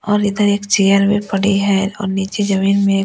और इधर एक चेयर भी पड़ी है और नीचे जमीन में--